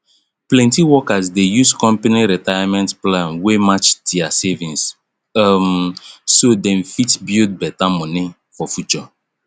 plenty workers dey use company retirement plan wey match their savings um so dem fit build better money for future